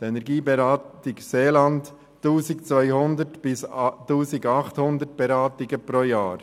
Die Energieberatung Seeland kommt auf 1200–1800 Beratungen pro Jahr.